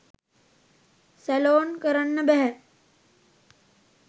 Salon කරන්න බැහැ.